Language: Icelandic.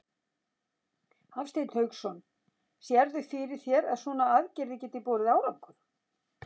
Hafsteinn Hauksson: Sérðu fyrir þér að svona aðgerðir geti borið árangur?